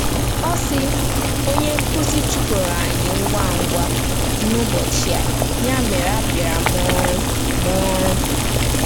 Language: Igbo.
Ọ sị: “Onye nkụzi chụpụrụ anyị ngwa ngwa n’ụbọchị a, ya mere abịaara m ọrụ. m ọrụ.